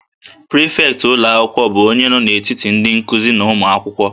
Prịfektị ụlọ akwụkwọ bụ onye nọ n'etiti ndị nkuzi na ụmụ akwụkwọ